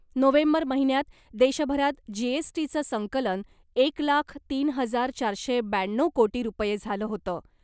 November महिन्यात देशभरात जीएसटीचं संकलन एक लाख तीन हजार चारशे ब्याण्णव कोटी रुपये झालं होतं .